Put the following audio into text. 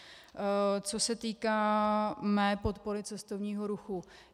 Co se týká mé podpory cestovního ruchu.